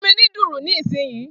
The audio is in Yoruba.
Fun mi ni dùrù ni ilsinyii